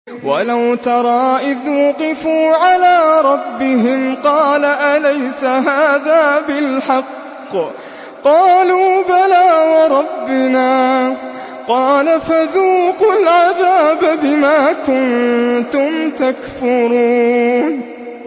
وَلَوْ تَرَىٰ إِذْ وُقِفُوا عَلَىٰ رَبِّهِمْ ۚ قَالَ أَلَيْسَ هَٰذَا بِالْحَقِّ ۚ قَالُوا بَلَىٰ وَرَبِّنَا ۚ قَالَ فَذُوقُوا الْعَذَابَ بِمَا كُنتُمْ تَكْفُرُونَ